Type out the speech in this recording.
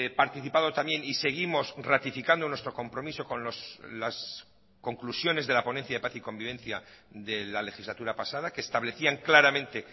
participado también y seguimos ratificando nuestro compromiso con las conclusiones de la ponencia de paz y convivencia de la legislatura pasada que establecían claramente